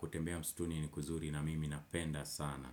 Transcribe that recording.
kutembea msituni ni kuzuri na mimi napenda sana.